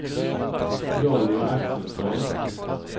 Jonny Axelsson